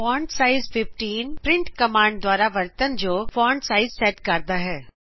font size 15printਕਮਾਂਡ ਦੁਆਰਾ ਵਰਤਨ ਯੋਗ ਫਾਂਟ ਸਾਇਜ਼ ਸੈਟ ਕਰਦਾ ਹੈ